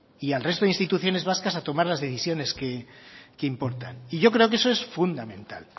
y al resto de instituciones vascas a tomar las decisiones que importan y yo creo que eso es fundamental